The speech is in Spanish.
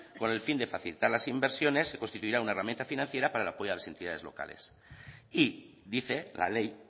con el fin de facilitar las inversiones se constituirá una herramienta financiera para el apoyo a las entidades locales y dice la ley